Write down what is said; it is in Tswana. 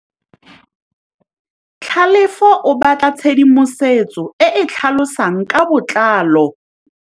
Tlhalefô o batla tshedimosetsô e e tlhalosang ka botlalô.